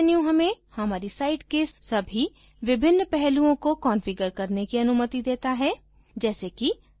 यह विशेष menu हमें हमारी site के सभी विभिन्न पहलुओं को कन्फिगर करने की अऩुमति देता है